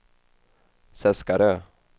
Seskarö